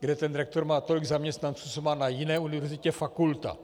kde ten rektor má tolik zaměstnanců, co má na jiné univerzitě fakulta.